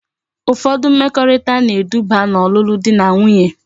Ufodu mmekorita na edube na olulu di na nwunye